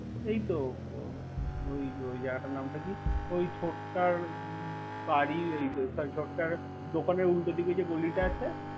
এইতো ওই জাগাটার নামটাকি? ওই ছোটকার বাড়ির, সরি দোকানের উল্টো দিকে গলিটা আছে।